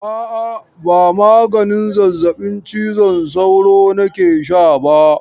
A'a, ba maganin zazzabin cizon sauro nake sha ba?